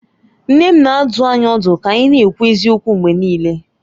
Nne m na-adụ anyị ọdụ ka anyị na-ekwu eziokwu mgbe niile